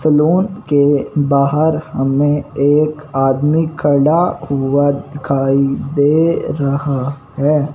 Salon के बाहर हमे एक आदमी खड़ा हुआ दिखाई दे रहा हैं।